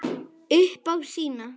Upp á sína.